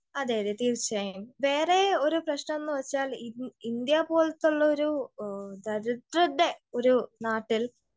അതെയതെ, തീർച്ചയായും. വേറെ ഒരു പ്രശ്നമെന്ന് വെച്ചാൽ ഇൻ ഇന്ത്യ പോലത്തുള്ളൊരു ദരിദ്രരുടെ ഒരു നാട്ടിൽ